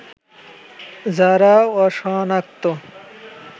যারা অসনাক্ত